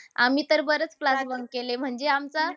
आम्ही तर बरेच class bunk केले. म्हणजे आमचा